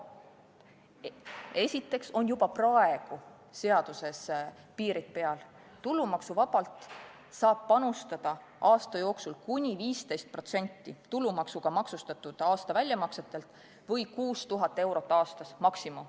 Esiteks on juba praegu seaduses piirid peal, tulumaksuvabalt saab aasta jooksul panustada kuni 15% tulumaksuga maksustatud aasta väljamaksetelt või kuni 6000 eurot aastas.